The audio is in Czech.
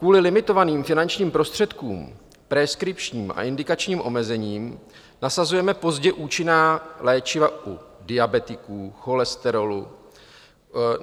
Kvůli limitovaným finančním prostředkům, preskripčním a indikačním omezením nasazujeme pozdě účinná léčiva u diabetiků, cholesterolu;